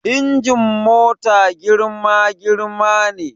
Injin mota girma girma ne